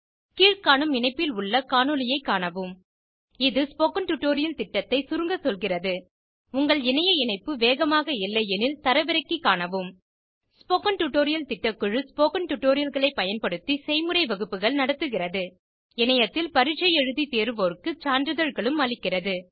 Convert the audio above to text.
கீழ்காணும் இணைப்பில் உள்ள காணொளியைக் காணவும் இது ஸ்போகன் டுடோரியல் திட்டத்தை சுருங்க சொல்கிறது உங்கள் இணைய இணைப்பு வேகமாக இல்லையெனில் தரவிறக்கி காணவும் ஸ்போகன் டுடோரியர் திட்டக்குழு ஸ்போகன் டுடோரியல்களை பயன்படுத்தி செய்முறை வகுப்புகள் நடத்துகிறது இணையத்தில் பரீட்சை எழுதி தேர்வோருக்கு சான்றிதழ்களும் அளிக்கிறது